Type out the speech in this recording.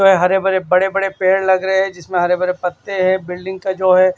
जो है हरे बरे बड़े-बड़े पेड़ लग रहे हैं जिसमें हरे भरे पत्ते हैं बिल्डिंग का जो है।